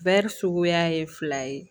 Bɛɛri suguya ye fila ye